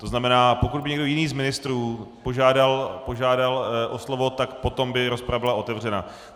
To znamená, pokud by někdo jiný z ministrů požádal o slovo, tak potom by rozprava byla otevřena.